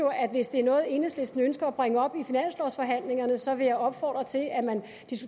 hvis det er noget enhedslisten ønsker at bringe op i finanslovsforhandlingerne så vil jeg opfordre til at man